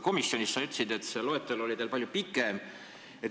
Komisjonis sa ütlesid, et see riikide loetelu oli teil palju pikem.